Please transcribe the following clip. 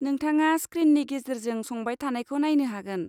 नोंथाङा स्क्रिननि गेजेरेजों संबाय थानायखौ नायनो हागोन।